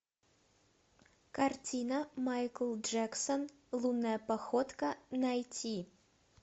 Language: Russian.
картина майкл джексон лунная походка найти